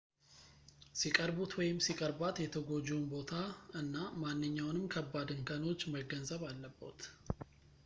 ሲቅርቡት ወይም ሲቀርቧት የተጎጂውን ቦታ እና ማንኛውንምን ከባድ እንከኖች መገንዘብ አለቦት